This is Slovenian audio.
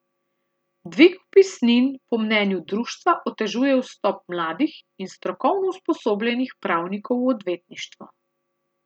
Dvig vpisnin po mnenju društva otežuje vstop mladih in strokovno usposobljenih pravnikov v odvetništvo.